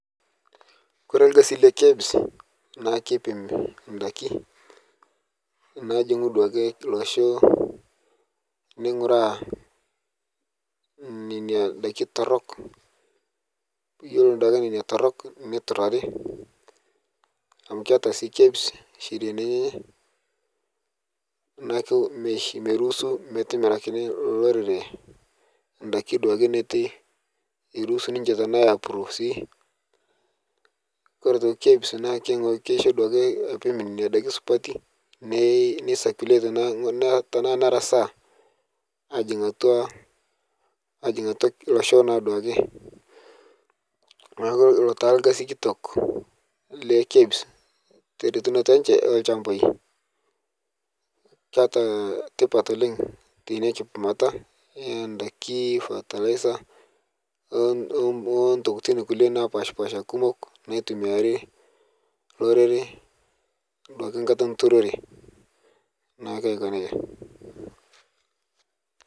Kore lkasi le KEBS naa kepim ndaki naajingu duake losho neinguraa nenia daki torok iyelo duake nenia torok neiturari amu keata sii KEBS sheriani enyenye naaku meiruhusu metimirakini lolo orere ndaki duake netu eruhusu ninche tanaa apuro sii kore aitoki KEBS naa keishoo aitoki apim nenia daki supati nasakulet naa tana narasaa ajing atua losho naa duake naku ilo taa lkasi kitok le KEBS teretinnoto enche tolshambai keata tipat oleng teinia kipimata endaki patalaisa otokitin kule napashpasha kumok naitumiari lorere duake nkata enturore naake ako neja.